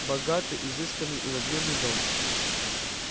богатый изысканный и надменный дом